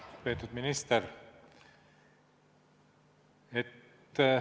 Lugupeetud minister!